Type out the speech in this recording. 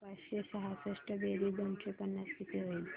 पाचशे सहासष्ट बेरीज दोनशे पन्नास किती होईल